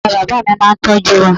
Bàbá bàbá mi máa n tọ́jú wa